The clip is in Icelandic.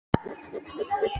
Matthildur, spilaðu tónlist.